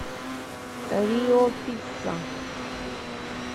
рио пицца